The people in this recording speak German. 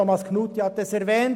Thomas Knutti hat es erwähnt: